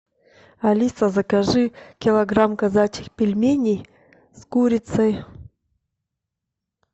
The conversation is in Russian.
алиса закажи килограмм казачьих пельменей с курицей